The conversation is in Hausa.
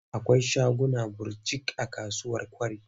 Akwai shaguna birjik a kasuwar Kwari.